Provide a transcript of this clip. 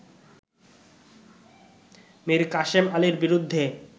মীর কাশেম আলীর বিরুদ্ধে